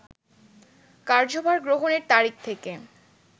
কার্যভার গ্রহণের তারিখ থেকে